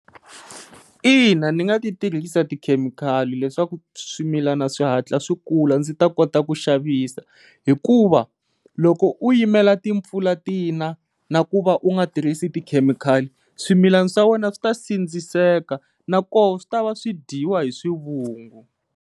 Ina, ni nga ti tirhisa tikhemikhali leswaku swimilana swihatla swi kula ndzi ta kota ku xavisa hikuva loko u yimela timpfula tina na ku va u nga tirhisi tikhemikhali swimilana swa wena swi ta sindziseka na koho swi tava swi dyiwa hi swivungu.